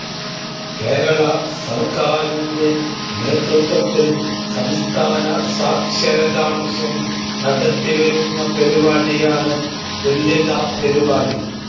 കേരള സർക്കാരിൻ്റെ നേതൃത്വത്തിൽ സംസ്ഥാന സാക്ഷരതാ മിഷൻ നടത്തി വരുന്ന പരിപാടി ആണ് തുല്യതാ പരിപാടി